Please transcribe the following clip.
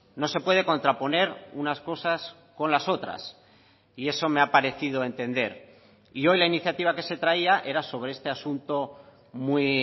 no se puede contraponer unas cosas con las otras y eso me ha parecido entender y hoy la iniciativa que se traía era sobre este asunto muy